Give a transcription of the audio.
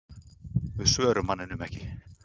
Við svörum manninum ekki.